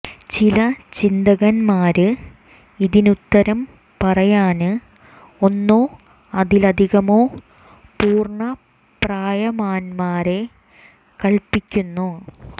ചില ചിന്തകന്മാര് ഇതിനുത്തരം പറയാന് ഒന്നോ അതിലധികമോ പൂര്ണ്ണ പ്രായന്മാരെ കല്പിക്കുന്നു